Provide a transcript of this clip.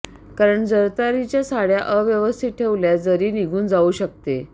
कारण जरतारीच्या साडय़ा अव्यवस्थित ठेवल्यास जरी निघून जाऊ शकते